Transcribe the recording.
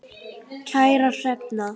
Kæra Hrefna